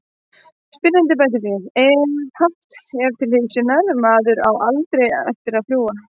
Spyrjandi bætir við: Ef haft er til hliðsjónar:.maðurinn á ALDREI eftir að fljúga.